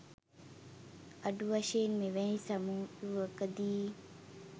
අඩු වශයෙන් මෙවැනි සමුළුවකදි